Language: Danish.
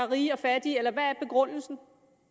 rige og fattige eller hvad er begrundelsen